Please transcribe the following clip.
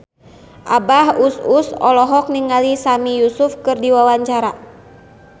Abah Us Us olohok ningali Sami Yusuf keur diwawancara